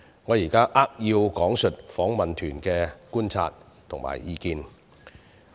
我現在扼要講述訪問團的觀察及意見。